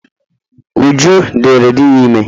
Uju diri di ya ime